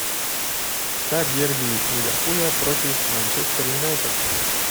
ставь дерби ливерпуля против манчестер юнайтед